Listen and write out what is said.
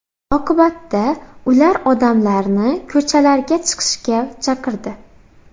Oqibatda ular odamlarni ko‘chalarga chiqishga chaqirdi.